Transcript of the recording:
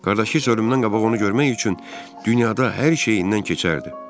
Qardaşı isə ölümdən qabaq onu görmək üçün dünyada hər şeyindən keçərdi.